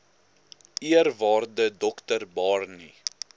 eerwaarde dr barney